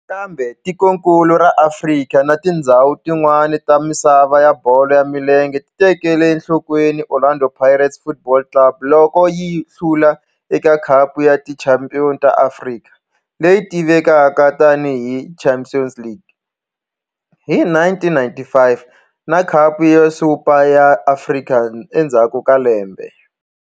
Kambe tikonkulu ra Afrika na tindzhawu tin'wana ta misava ya bolo ya milenge ti tekele enhlokweni Orlando Pirates Football Club loko yi hlula eka Khapu ya Tichampion ta Afrika, leyi tivekaka tani hi Champions League, hi 1995 na Khapu ya Super ya Afrika endzhaku ka lembe.